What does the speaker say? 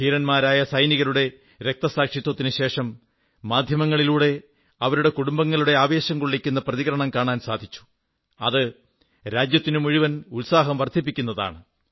ധീരന്മാരായ സൈനികരുടെ രക്തസാക്ഷിത്വത്തിനുശേഷം മാധ്യങ്ങളിലൂടെ അവരുടെ കുടുംബങ്ങളുടെ ആവേശംകൊള്ളിക്കുന്ന പ്രതികരണം കാണാൻ സാധിച്ചു അത് രാജ്യത്തിന്റെ മുഴുവൻ ഉത്സാഹം വർധിപ്പിക്കുന്നതാണ്